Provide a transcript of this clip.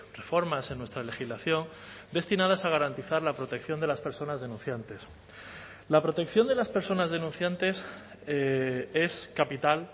reformas en nuestra legislación destinadas a garantizar la protección de las personas denunciantes la protección de las personas denunciantes es capital